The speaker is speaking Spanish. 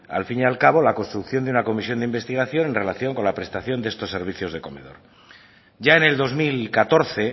al fin y al cabo la construcción de una comisión de investigación en relación con la prestación de estos servicios de comedor ya en el dos mil catorce